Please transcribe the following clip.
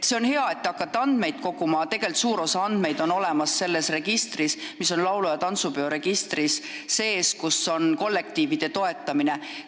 See on hea, et te hakkate andmeid koguma, aga tegelikult on suur osa andmeid olemas laulu- ja tantsupeo registris, kus on andmed kollektiivide toetamise kohta.